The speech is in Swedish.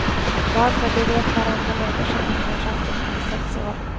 Varför, det vet varenda människa på nyårsafton om sex år.